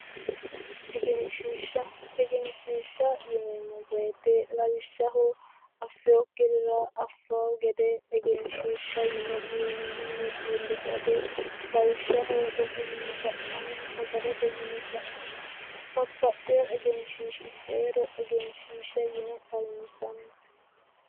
Egenshishsha, egenshishsha yineemmo woyte lawishshaho affinokkirira affano gede egenshishsha yine wiinamuni iillisha iillishate, lawishshaho rosu mini fa'namano gede sanera babbaxeo egenshishshi heero egenshishsha yine xawinsani